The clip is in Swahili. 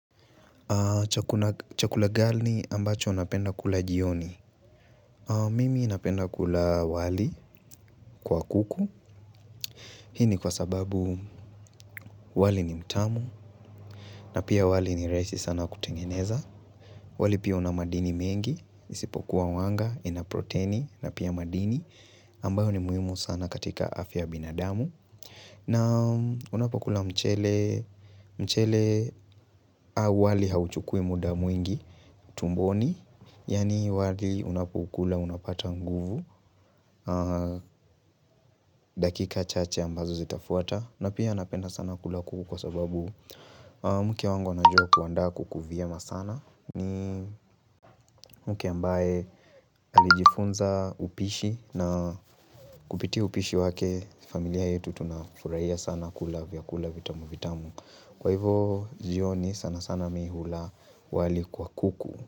Chakula gani ambacho unapenda kula jioni? Mimi napenda kula wali kwa kuku. Hii ni kwa sababu wali ni mtamu na pia wali ni rahisi sana kutengeneza. Wali pia una madini mengi, isipokuwa wanga, ina protini na pia madini ambayo ni muhimu sana katika afya ya binadamu. Naam, unapokula mchele mchele au wali hauchukui muda mwingi tumboni Yaani wali unapokula unapata nguvu dakika chache ambazo zitafuata na pia napenda sana kula kuku kwa sababu mke wangu anajua kuandaa kuku vyema sana ni mke ambaye alijifunza upishi na kupitia upishi wake familia yetu tunafurahia sana kula vyakula vitamu vitamu kwa hivyo jioni sana sana mimi hula wali kwa kuku.